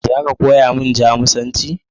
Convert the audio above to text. Za ka koya min Jamusanci?